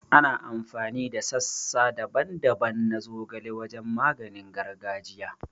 Ana amfani da sassa daban-daban na zogale wajen maganin gargajiya